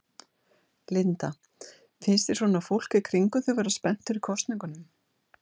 Linda: Finnst þér svona fólk í kringum þig vera spennt fyrir kosningunum?